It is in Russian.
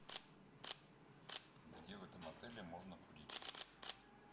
где в этом отеле можно курить